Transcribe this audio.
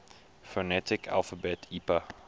phonetic alphabet ipa